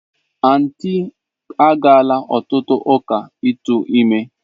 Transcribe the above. Aunty agaala otutu uka itu ime.